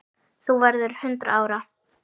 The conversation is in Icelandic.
Þú verður hundrað ára.